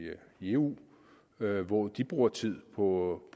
eu hvor de bruger tid på